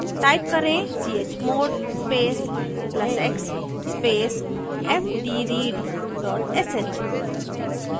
type करें: chmod space plus x space fdread dot sh